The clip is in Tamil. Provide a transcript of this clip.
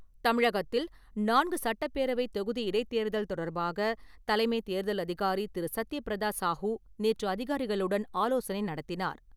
தமிழகத்தில் நான்கு சட்டப் பேரவை தொகுதி இடைத்தேர்தல் தொடர்பாக தலைமைத் தேர்தல் அதிகாரி திரு. சத்திய பிரதா சாஹூ நேற்று அதிகாரிகளுடன் ஆலோசனை நடத்தினார்.